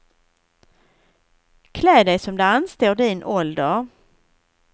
Klä dig som det anstår din ålder.